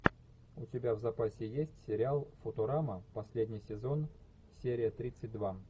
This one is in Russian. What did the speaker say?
у тебя в запасе есть сериал футурама последний сезон серия тридцать два